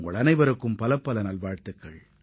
உங்கள் அனைவருக்கும் எனது நல்வாழ்த்துகள்